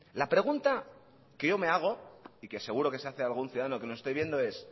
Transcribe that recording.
la pregunta que yo me hago y que seguro que se hace algún ciudadano que nos esté viendo es